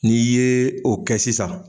n'i ' ye o kɛ sisan